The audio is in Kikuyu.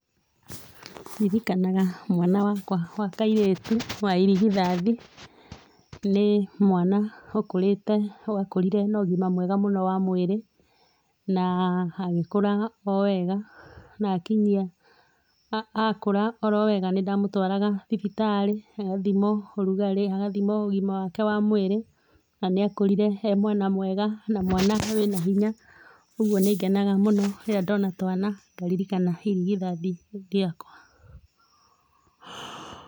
Ririkanaga mwana wakwa wa kairĩtu wa irigithathi ni mwana wakũrire na ũgima mwega mũno wa mwĩrĩ, na agĩkũra o wega, akũra orowega nĩ ndamũtwaraga thibitarĩ agathimwo ũrugarĩ, agathimwo ũgima wake wa mwĩrĩ na nĩ akũrire e mwana mwega na mwana wĩna hinya, ũgũo nĩ ngenaga mũno rĩrĩa ndona twana ngaririkana irigithathi rĩakwa.